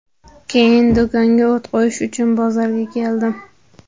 Keyin do‘konga o‘t qo‘yish uchun bozorga keldim.